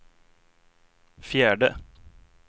fjärde